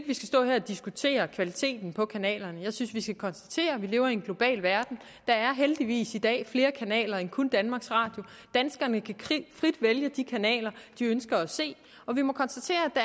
vi skal stå her og diskutere kvaliteten på kanalerne jeg synes vi skal konstatere at vi lever i en global verden der er heldigvis i dag flere kanaler end kun danmarks radio danskerne kan frit vælge de kanaler de ønsker at se og vi må konstatere at